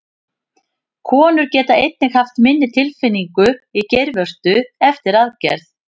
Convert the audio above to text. Konur geta einnig haft minni tilfinningu í geirvörtu eftir aðgerð.